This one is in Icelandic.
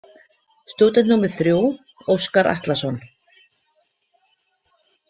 Stúdent númer þrjú: Óskar Atlason.